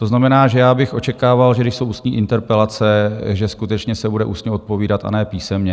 To znamená, že já bych očekával, že když jsou ústní interpelace, že skutečně se bude ústně odpovídat, a ne písemně.